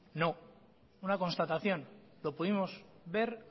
no una constatación lo pudimos ver